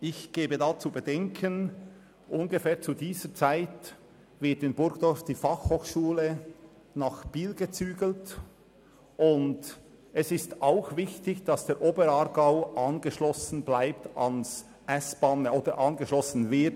Ich gebe zu bedenken, dass die Berner Fachhochschule (BFH) in diesem Zeitraum von Burgdorf nach Biel umziehen wird.